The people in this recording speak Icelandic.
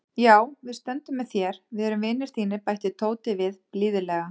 Já, við stöndum með þér, við erum vinir þínir bætti Tóti við blíðlega.